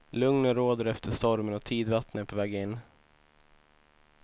Lugnet råder efter stormen och tidvattnet är på väg in.